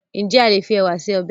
Ǹjẹ́ a lè fi ẹ̀wà se ọbẹ̀?